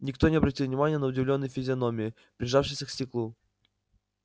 никто не обратил внимания на удивлённые физиономии прижавшиеся к стеклу